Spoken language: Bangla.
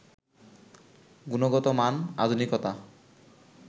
গুণগত মান, আধুনিকতা